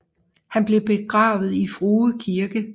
Han blev begravet i Frue Kirke